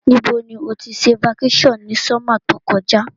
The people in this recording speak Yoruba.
Ní bo ni o ti se vacation ni summer to kojá